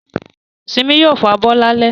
Simi yóò fabọ́ lálẹ́